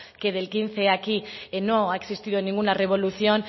que del quince aquí no ha existido ninguna revolución